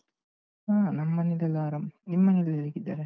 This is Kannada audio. ಹಾ ನಮ್ಮ್ ಮನೇಲೆಲ್ಲಾ ಆರಾಮ್. ನಿಮ್ಮನೇಲೆಲ್ಲಾ ಹೇಗಿದ್ದಾರೆ?